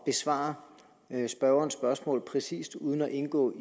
besvare spørgerens spørgsmål præcist uden at indgå